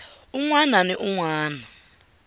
un wana ni un wana